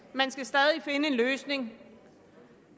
man skal stadig finde en løsning